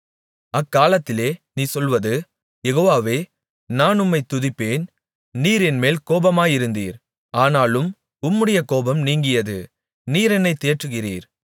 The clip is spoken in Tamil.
அக்காலத்திலே நீ சொல்வது யெகோவாவே நான் உம்மைத் துதிப்பேன் நீர் என்மேல் கோபமாயிருந்தீர் ஆனாலும் உம்முடைய கோபம் நீங்கியது நீர் என்னைத் தேற்றுகிறீர்